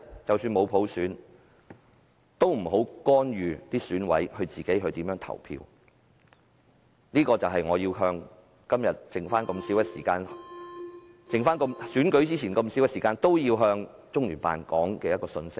即使沒有普選，但也請不要干預選委如何投票，而這正是現在距離選舉的時間無多，但我依然要向中聯辦表達的信息。